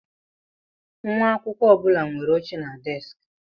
Nwa akwụkwọ ọ bụla nwere oche na deskị.